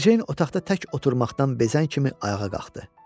Mericeyn otaqda tək oturmaqdan bezən kimi ayağa qalxdı.